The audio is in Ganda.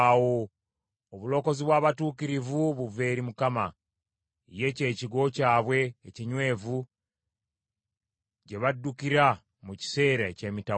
Obulokozi bw’abatuukirivu buva eri Mukama ; ye ky’ekigo kyabwe ekinywevu gye baddukira mu kiseera eky’emitawaana.